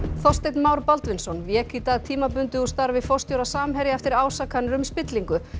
Þorsteinn Már Baldvinsson vék í dag tímabundið úr starfi forstjóra Samherja eftir ásakanir um spillingu